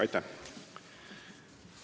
Aitäh!